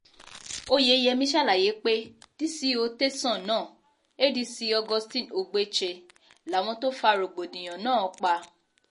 oyeyèmí ṣàlàyé pé dco tẹ̀sán náà adc augustine ogbeche làwọn tó fa rògbòdìyàn náà pa